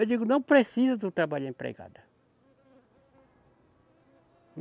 Eu digo, não precisa do trabalho da empregada.